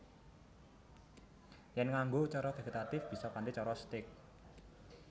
Yèn nganggo cara vegetatif bisa kanthi cara stèk